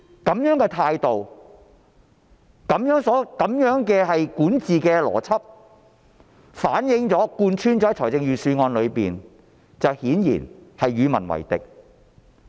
這樣的態度及管治邏輯反映於預算案中並貫穿其中，顯然是與民為敵。